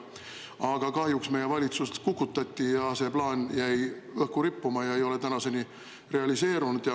Aga kahjuks meie valitsus kukutati ja see plaan jäi õhku rippuma ning ei ole tänaseni realiseerunud.